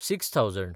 six thousand